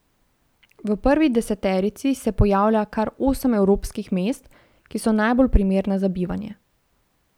V prvi deseterici se pojavlja kar osem evropskih mest, ki so najbolj primerna za bivanje.